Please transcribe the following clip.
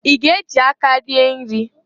I ga-ejị aka rie nri?